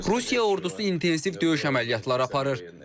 Rusiya ordusu intensiv döyüş əməliyyatları aparır.